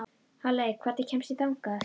Halley, hvernig kemst ég þangað?